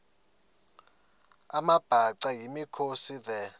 amabhaca yimikhosi the